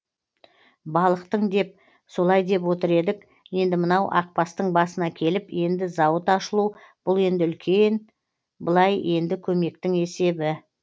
балықтың деп солай деп отыр едік енді мынау ақбастың басына келіп енді зауыт ашылу бұл енді үлкен былай енді көмектің есебі